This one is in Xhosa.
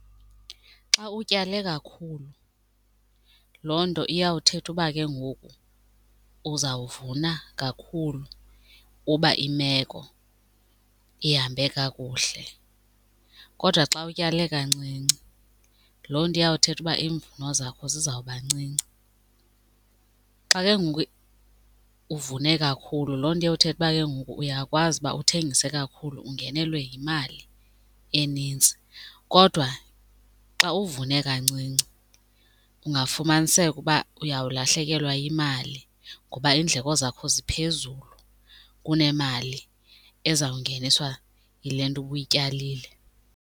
Xa utyale kakhulu loo nto iyawuthetha uba ke ngoku uzawuvuna kakhulu uba imeko ihambe kakuhle, kodwa xa utyale kancinci loo nto iyawuthetha uba iimvuno zakho zizawuba ncinci. Xa ke ngoku uvune kakhulu loo nto iyawuthetha ukuba ke ngoku uyakwazi uba uthengise kakhulu ungenelwe yimali enintsi, kodwa xa uvune kancinci kungafumaniseka uba uyawulahlekelwa yimali ngoba iindleko zakho ziphezulu kunemali ezawungeniswa yile nto ubuyityalile.